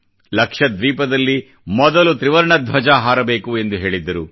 ಲಕ್ಷ ದ್ವೀಪದಲ್ಲಿ ಮೊದಲು ತ್ರಿವರ್ಣ ಧ್ವಜ ಹಾರಬೇಕು ಎಂದು ಹೇಳಿದ್ದರು